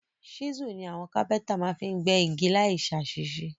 Chisel ni àwon carpenter ma fi n gbẹ́ igi láì sàsísé